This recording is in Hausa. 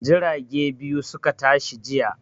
Jirage biyu su ka tashi jiya.